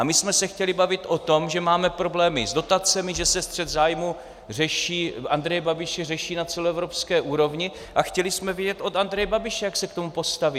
A my jsme se chtěli bavit o tom, že máme problémy s dotacemi, že se střet zájmů Andreje Babiše řeší na celoevropské úrovni, a chtěli jsme vědět od Andreje Babiše, jak se k tomu postaví.